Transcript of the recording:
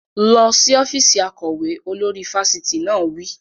Lọ sí ọ́fíìsì akọ̀wé! Olórí fáfitì náà wí.